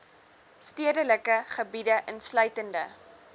stedelike gebiede insluitende